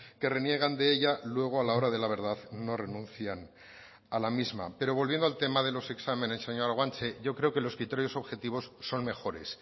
que reniegan de ella luego a la hora de la verdad no renuncian a la misma pero volviendo al tema de los exámenes señora guanche yo creo que los criterios objetivos son mejores